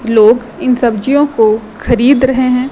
लोग इन सब्जियों को खरीद रहे हैं।